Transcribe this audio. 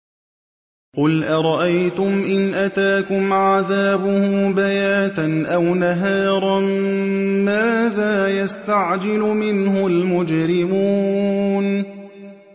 قُلْ أَرَأَيْتُمْ إِنْ أَتَاكُمْ عَذَابُهُ بَيَاتًا أَوْ نَهَارًا مَّاذَا يَسْتَعْجِلُ مِنْهُ الْمُجْرِمُونَ